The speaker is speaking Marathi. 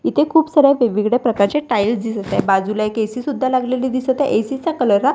इथे खूप साऱ्या वेगवेगळ्या प्रकारच्या टाईल्स दिसत आहे बाजूला एक ए_सी सुद्धा लागलेली दिसत आहे ए_सी चा कलर --